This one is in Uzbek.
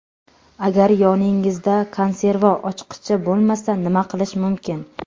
Agar yoningizda konserva ochqichi bo‘lmasa, nima qilish mumkin?.